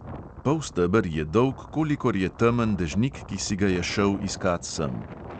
Polsteber je dolg, kolikor je temen dežnik, ki si ga je šel iskat sem.